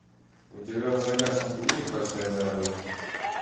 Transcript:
у тебя в загашнике есть большая дорога